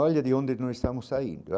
Olha de onde nós estamos saindo.